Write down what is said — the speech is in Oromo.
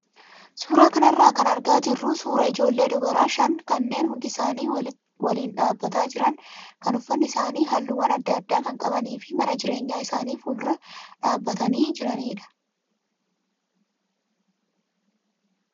Suuraa kanarraa kan argaa jirru suuraa ijoollee dubaraa shan kanneen hundi isaanii waliin dhaabbataa jiran kan uffatni isaanii halluuwwa adda addaa kan qabanii fi mana jireenyaa isaanii fuuldura dhaabbatanii jiranidha.